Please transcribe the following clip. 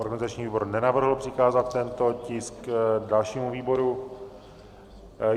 Organizační výbor nenavrhl přikázat tento tisk dalšímu výboru.